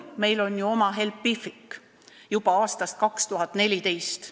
Meil on ju oma Helpific juba aastast 2014.